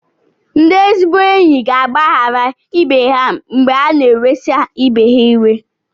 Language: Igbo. Ndị ezigbo enyi ga-agbaghara ibe ha mgbe ha na-ewesa ibe ha iwe.